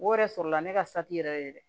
O yɛrɛ sɔrɔla ne ka sati yɛrɛ ye dɛ